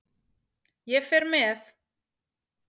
Ég fer með.